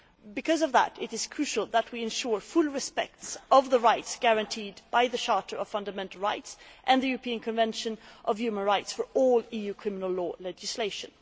Because of that, it is crucial that we ensure full respect of the rights guaranteed by the Charter of Fundamental Rights and the European Convention on Human Rights for all EU criminal law legislation.